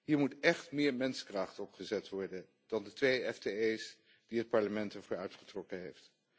Hier moet echt meer menskracht op gezet worden dan de twee FTE's die het Parlement ervoor uitgetrokken heeft.